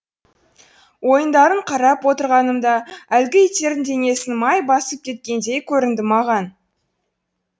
ойындарын қарап отырғанымда әлгі иттердің денесін май басып кеткендей көрінді маған